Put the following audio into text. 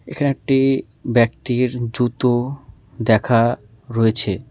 এখানে একটি ব্যক্তির জুতো দেখা রয়েছে।